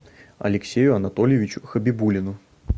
алексею анатольевичу хабибуллину